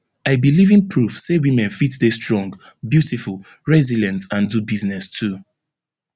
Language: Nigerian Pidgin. i be living proof say women fit dey strong beautiful resilient and do business too